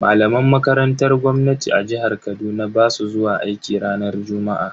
Malaman makarantar gwamnati a jihar Kaduna basu zuwa aiki ranar juma'a.